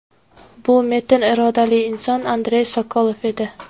Bu metin irodali inson Andrey Sokolov edi.